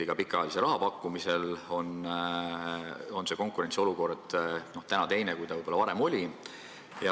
Ka pikaajalise laenu pakkumisel on konkurentsiolukord teine kui varem.